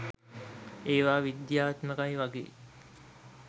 ඒවා විද්‍යාත්මකයි වගේ